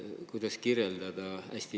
Kogu maailm?